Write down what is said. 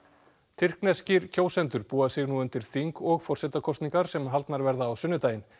tyrkneskir kjósendur búa sig nú undir þing og forsetakosningar sem haldnar verða á sunnudaginn